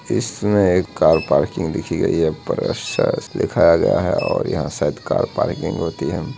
इस में एक कार पार्किंग दिखी गयी है लिखा गया है और यहाँ शायद कार पार्किंग होती हैं।